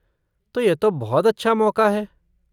तो यह तो बहुत अच्छा मौक़ा है।